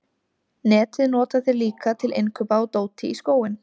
Netið nota þeir líka til innkaupa á dóti í skóinn.